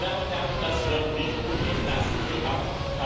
Meine Damen und Herren, das wird nicht gutgehen. Lassen sie ab!